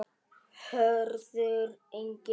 Hörður Ingi.